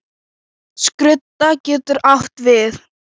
Skrudda getur átt við